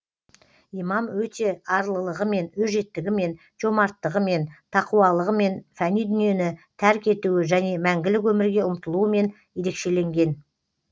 имам өте арлылығымен өжеттігімен жомарттығымен тақуалығымен фәни дүниені тәрк етуі және мәңгілік өмірге ұмтылуымен ерекшеленген